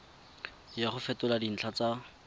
ya go fetola dintlha tsa